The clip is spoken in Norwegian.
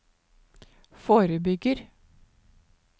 forebygger